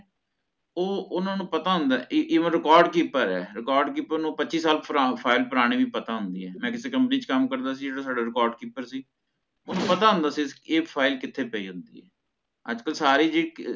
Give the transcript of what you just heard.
ਓਹ ਓਹਨਾ ਨੂ ਪਤਾ ਹੋਂਦਾ ਈ ਈ Even record ਕੀਤਾ ਹੋਇਆ ਹੈ Record keeper ਨੂ ਪਚੀਸ ਸਾਲ ਪੁਰਾਨੀ file ਵੀ ਪਤਾ ਹੋਂਦੀ ਹੈ ਮੈ ਕਿਸੀ company ਵਿੱਚ ਕਾਮ ਕਰਦਾ ਸੀ ਸਾਡਾ Record keeper ਸੀ ਪਤਾ ਹੋਂਦਾ ਸੀ ਇਹ file ਕਿਥੇ ਪਾਈ ਹੋਂਦੀ ਹੈ ਅਜੇ ਕਲ ਸਾਰੀ ਚੀਜ਼